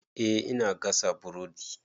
Eh ina gasa buredi.